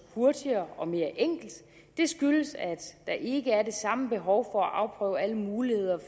hurtigere og mere enkelt det skyldes at der ikke er det samme behov for at afprøve alle muligheder